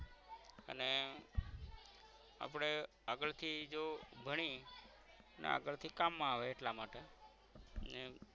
આપણે આગળ થી જો ભણી ને આગળ થી કામ મા આવે એટલા માટે ને